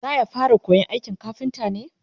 zaya fara koyan aikin kafinta ne?